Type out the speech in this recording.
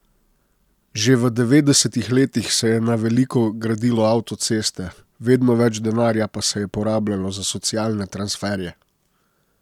Že v devetdesetih letih se je na veliko gradilo avtoceste, vedno več denarja pa se je porabljalo za socialne transferje.